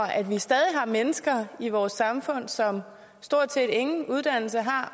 at vi stadig har mennesker i vores samfund som stort set ingen uddannelse har